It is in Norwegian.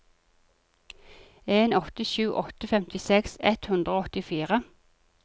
en åtte sju åtte femtiseks ett hundre og åttifire